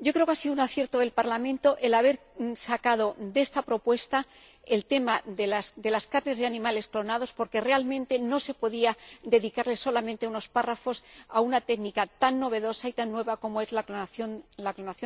Creo que ha sido un acierto del Parlamento el haber sacado de esta propuesta el tema de las carnes de animales clonados, porque realmente no se podía dedicar solamente unos párrafos a una técnica tan novedosa y tan nueva como es la clonación